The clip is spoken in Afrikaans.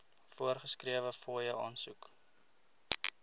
voorgeskrewe fooie aansoek